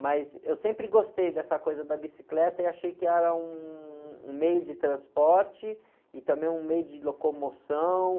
Mas eu sempre gostei dessa coisa da bicicleta e achei que era um, um meio de transporte e também um meio de locomoção.